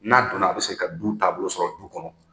N'a donna a bɛ segin ka du taabolo sɔrɔ du kɔnɔ